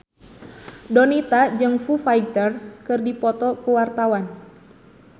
Donita jeung Foo Fighter keur dipoto ku wartawan